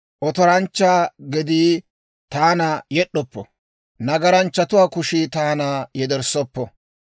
Otoranchcha gedii taana yed'd'oppo; nagaranchchatuwaa kushii taana yederssoppo.